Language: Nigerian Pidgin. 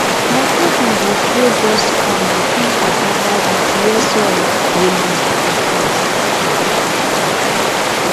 my cousin dey grow dust corn between cassava ridge where soil dey loose and hot